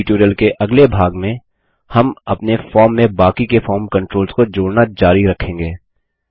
base tutorial के अगले भाग में हम अपने फॉर्म में बाकी के फॉर्म कंट्रोल्स को जोड़ना जारी रखेंगे